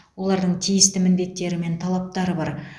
олардың тиісті міндеттері мен талаптары бар